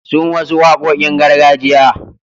Sun wasu waƙoƙin gargajiya.